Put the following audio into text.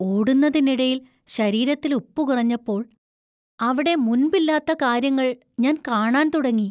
ഓടുന്നതിനിടയിൽ ശരീരത്തിൽ ഉപ്പ് കുറഞ്ഞപ്പോൾ, അവിടെ മുൻപില്ലാത്ത കാര്യങ്ങൾ ഞാൻ കാണാൻ തുടങ്ങി.